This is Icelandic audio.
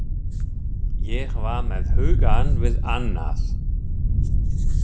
Ég var með hugann við annað.